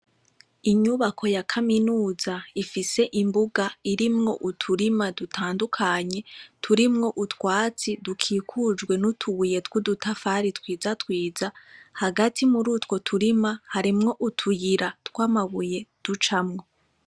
Inyubako ya kaminuza ifise imbuga irimwo uturima dutandukanye turimwo utwatsi dukikujwe n'utubuye twudutafari twiza twiza hagati murutwo turima harimwo utuyira twamabuye ducamwo.